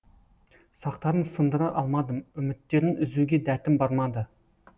сақтарын сындыра алмадым үміттерін үзуге дәтім бармады